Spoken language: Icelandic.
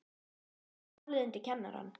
Bar ég því málið undir kennarann.